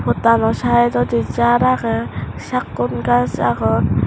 pottano saidodi jar aagey sakkon gaj agon.